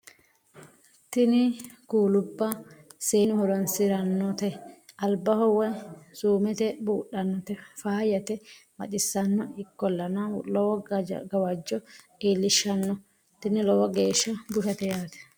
tini kuulubba seennu horoonsirannote albaho woy suumete budhannote faayyate baxissanno ikkollana lowo gawajjo iillishshanno tini lowo geeshsha bushshate yaate .